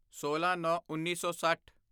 ਸੋਲਾਂਨੌਂਉੱਨੀ ਸੌ ਸੱਠ